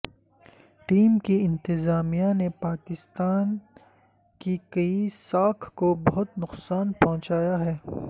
team کی انتظامیہ نے پاکستان کی کی ساکھ کو بہت نقصان پہنچایا ہے